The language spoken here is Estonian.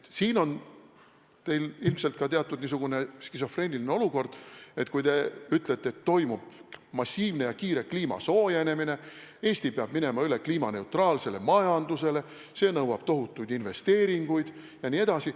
Te olete ilmselt teatud skisofreenilises olukorras, kui te ütlete, et toimub massiivne ja kiire kliima soojenemine, Eesti peab minema üle kliimaneutraalsele majandusele, see nõuab tohutuid investeeringuid jne.